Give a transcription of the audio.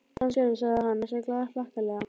Þarna sérðu, sagði hann næstum glaðhlakkalega.